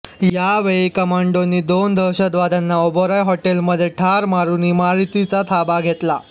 यावेळी कमांडोंनी दोन दहशतवाद्यांना ओबेरॉय होटेलमध्ये ठार मारुन इमारतीचा ताबा घेतला